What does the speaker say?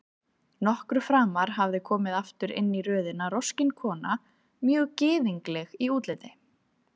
Nokkru framar hafði komið aftur inn í röðina roskin kona, mjög gyðingleg í útliti.